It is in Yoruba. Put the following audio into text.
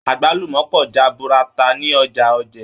Agbalumọ pọ jaburata ni Ọjà Òjé.